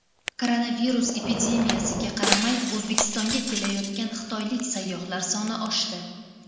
Koronavirus epidemiyasiga qaramay O‘zbekistonga kelayotgan xitoylik sayyohlar soni oshdi.